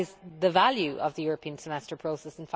That is the value of the European Semester process.